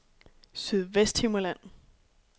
Sydvesthimmerland